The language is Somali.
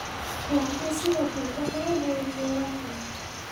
laakiin sidoo kale wax weyn ayay ku yeelan karaan.